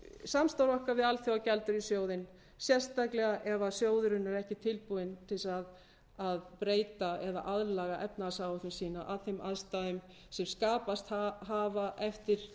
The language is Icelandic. samstarf okkar við alþjóðagjaldeyrissjóðinn sérstaklega ef sjóðurinn er ekki tilbúinn til þess að breyta eða aðlaga efnahagsáætlun sína að þeim aðstæðum sem skapast hafa eftir